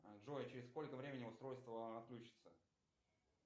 джой через сколько времени устройство отключится